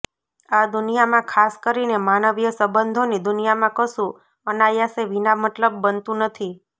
આ દુનિયામાં ખાસ કરીને માનવીય સંબંધોની દુનિયામાં કશું અનાયાસે વિના મતલબ બનતું નથી